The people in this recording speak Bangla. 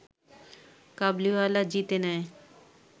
কাবুলিওয়ালা জিতে নেয়